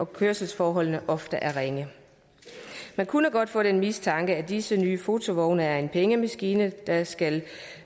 kørselsforholdene ofte er ringe man kunne godt få den mistanke at disse nye fotovogne er en pengemaskine der skal